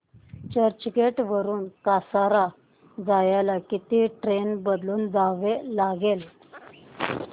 चर्चगेट वरून कसारा जायला किती ट्रेन बदलून जावे लागेल